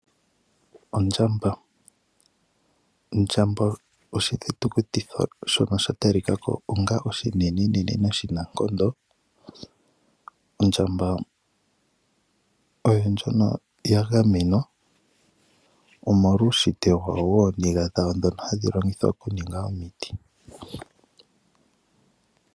Ondjamba oshithitukuti shoka sha talikwa ko onga ishinene noshinankondo. Ondjamba oyo ndjono yagamenwa, omolwa uushitwe wawo wooniga hadhi vulu okuninga omiti.